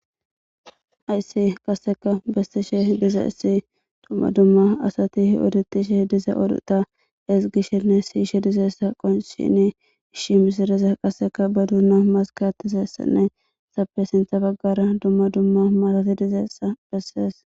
Hayssi qasseka bessishe dizayssi dumma dumma asati odettishe diza odota ezggishe ne si7ishe dizayssa qonncini issi mishiraza ba duunan maskka aattizayssanne hessappe sintha baggaara dumma dumma marati dizayssa bessees.